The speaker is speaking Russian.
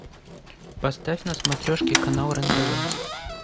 поставь на смотрешке канал рен тв